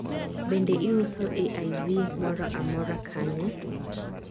bende iuso AIV mora amora, kanye